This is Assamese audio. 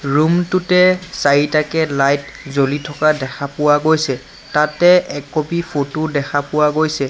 ৰুম টোতে চাৰিটাকৈ লাইট জ্বলি থকা দেখা পোৱা গৈছে তাতে এক কপী ফটো দেখা পোৱা গৈছে।